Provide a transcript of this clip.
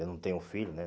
Eu não tenho filho, né?